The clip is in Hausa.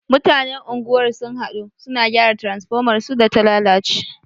Mutanen unguwar sun haɗu, su na gyara transfomar su da ta lalace.